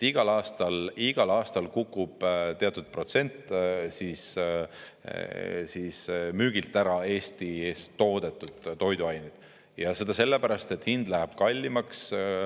Igal aastal kukub teatud protsent müügilt ära Eesti eest toodetud toiduained, ja seda sellepärast, et hind läheb kallimaks.